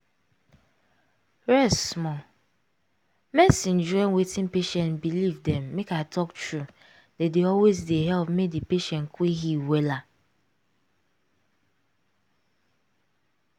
rest small. medicine join wetin patient believe dem make i talk true dey dey always dey help make di patient quick heal wella.